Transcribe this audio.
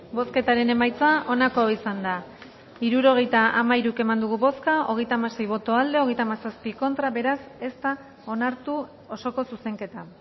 bozketaren emaitza onako izan da hirurogeita hamairu eman dugu bozka hogeita hamasei boto aldekoa treinta y siete contra beraz ez da onartu osoko zuzenketa